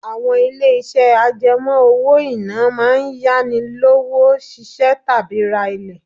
Àwọn ilé-iṣẹ́ àjẹmó owó-ìná máa ń yá ni lówó ṣiṣẹ́ tàbí ra ilé.